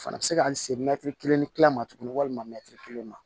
Fana bɛ se ka n se mɛtiri kelen ni tila ma tuguni walima kelen ma